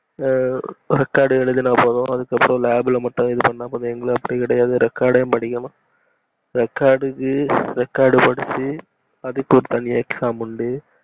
ஆ record எழுதனா போதும் அதுக்கு அப்புறம் lab ல மட்டும் இதுபனா போதும் ஆனா எங்களுக்கு அப்டி கிடையாது record ஐயும் படிக்கணும் record க்கு record படிச்சி அதுக்கு தனியா ஒரு exam உண்டு